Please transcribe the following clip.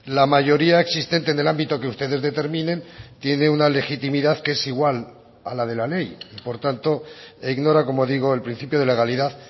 la mayoría existente en el ámbito que ustedes determinen tiene una legitimidad que es igual a la de la ley por tanto e ignora como digo el principio de legalidad